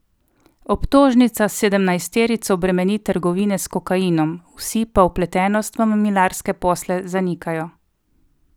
Obtožnica sedemnajsterico bremeni trgovine s kokainom, vsi pa vpletenost v mamilarske posle zanikajo.